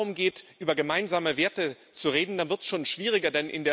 Wenn es aber darum geht, über gemeinsame Werte zu reden, dann wird es schon schwieriger.